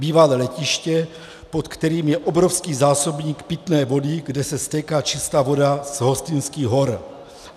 Bývalé letiště, pod kterým je obrovský zásobník pitné vody, kde se stéká čistá voda z Hostýnských hor.